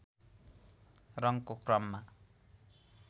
रङको क्रममा